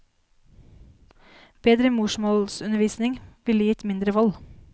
Bedre morsmålsundervisning ville gitt mindre vold.